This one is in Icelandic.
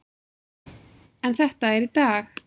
En þetta er í dag.